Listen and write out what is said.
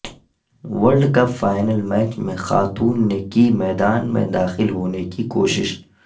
world cup final match میں خاتون نے کی میدان میں داخل ہونے کی کوشش